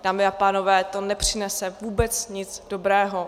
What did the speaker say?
Dámy a pánové, to nepřinese vůbec nic dobrého.